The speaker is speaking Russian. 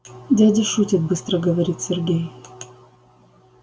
дядя шутит быстро говорит сергей